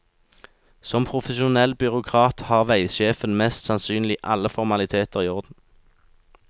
Som profesjonell byråkrat har veisjefen mest sannsynlig alle formaliteter i orden.